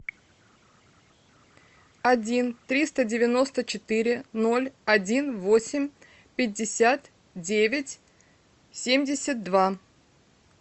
один триста девяносто четыре ноль один восемь пятьдесят девять семьдесят два